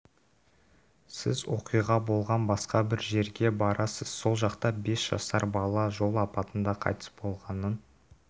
сіз оқиға болған басқа бір жерге барасыз сол жақта бес жасар бала жол апатында қайтыс болғанын